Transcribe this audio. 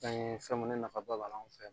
An ye fɛn mun ni nafaba b'a la anw fɛ yan